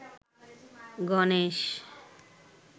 Ganesh